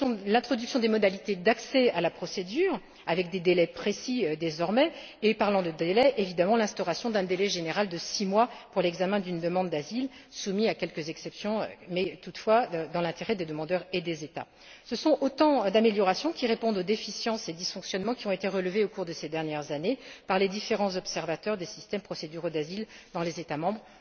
l'introduction des modalités d'accès à la procédure avec des délais désormais précis et évidemment, en parlant des délais, l'instauration d'un délai général de six mois pour l'examen d'une demande d'asile soumis à quelques exceptions, mais toutefois dans l'intérêt des demandeurs et des États. Ce sont autant d'améliorations qui répondent aux déficiences et aux dysfonctionnements qui ont été relevés au cours de ces dernières années par les différents observateurs des systèmes procéduraux d'asile dans les États membres.